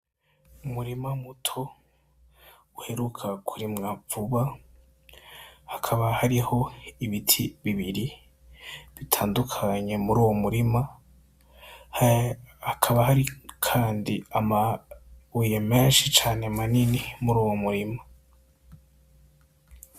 Umurima muto uheruka kurimwa vuba hakaba hariho ibiti bibiri bitandukanye muri uwo murima hakaba hari kandi amabuye menshi cane manini muri uwo murima.